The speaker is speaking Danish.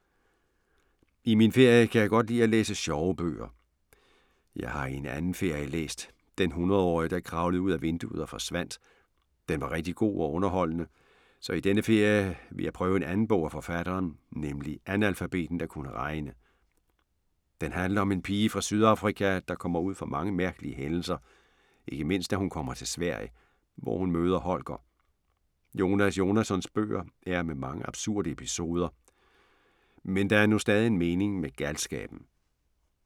I min ferie kan jeg godt lide at læse sjove bøger. Jeg har i en anden ferie læst "Den hundredårige der kravlede ud ad vinduet og forsvandt". Den var rigtig god og underholdende, så i denne ferie vil jeg prøve en anden bog af forfatteren, nemlig Analfabeten der kunne regne. Den handler om en pige fra Sydafrika, der kommer ud for mange mærkelige hændelser, ikke mindst da hun kommer til Sverige, hvor hun møder Holger. Jonas Jonassons bøger er med mange absurde episoder, men der er nu stadig en mening med galskaben.